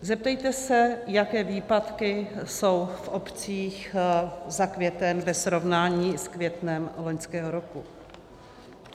Zeptejte se, jaké výpadky jsou v obcích za květen ve srovnání s květnem loňského roku.